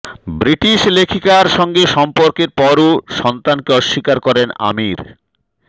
British লেখিকার সঙ্গে সম্পর্কের পরও সন্তানকে অস্বীকার করেন আমির